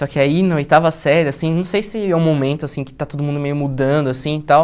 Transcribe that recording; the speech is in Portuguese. Só que aí, na oitava série, assim, não sei se é um momento, assim, que está todo mundo meio mudando, assim, e tal...